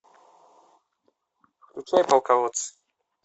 включай полководцы